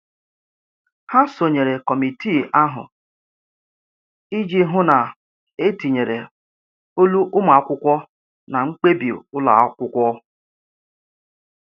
Ha sonyere kọmitii ahụ iji hụ na etinyere olu ụmụ akwụkwọ na mkpebi ụlọ akwụkwọ.